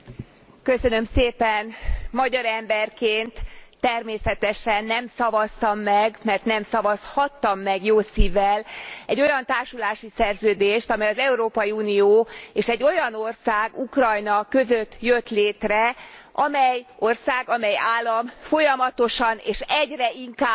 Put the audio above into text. Magyar emberként természetesen nem szavaztam meg mert nem szavazhattam meg jó szívvel egy olyan társulási szerződést, amely az Európai Unió és egy olyan ország Ukrajna között jött létre, amely ország, amely állam folyamatosan és egyre inkább lábbal tapossa